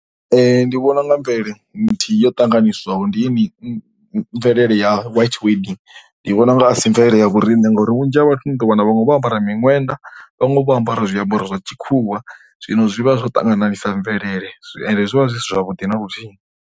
Ndi vhona u nga mvelele nthihi yo tanganyiswaho ndi mvelele ya white wedding. Ndi vhona u nga si mvelele ya vhoriṋe ngauri vhunzhi ha vhathu ni ḓo wana vhaṅwe vho ambara miṅwenda vhaṅwe vho ambara zwiambaro zwa tshikhuwa. Zwino zwi vha zwo ṱangananisa mvelele ende zwi vha zwi si zwavhuḓi na luthihi.